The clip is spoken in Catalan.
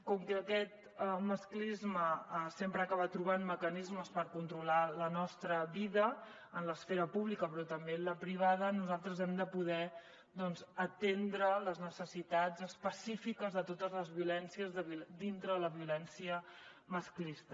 com que aquest masclisme sempre acaba trobant mecanismes per controlar la nostra vida en l’esfera pública però també en la privada nosaltres hem de poder atendre les necessitats específiques de totes les violències dintre de la violència masclista